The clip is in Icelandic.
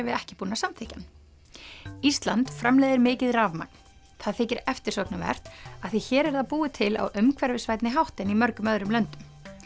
við ekki búin að samþykkja hann ísland framleiðir mikið rafmagn það þykir eftirsóknarvert af því hér er það búið til á umhverfisvænni hátt en í mörgum öðrum löndum